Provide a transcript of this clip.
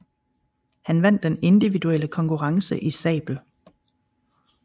Han vandt den individuelle konkurrence i sabel